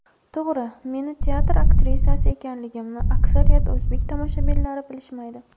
To‘g‘ri, meni teatr aktrisasi ekanligimni aksariyat o‘zbek tomoshabinlari bilishmaydi.